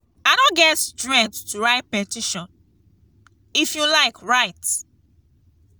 i no get strength to write petition. if you like write.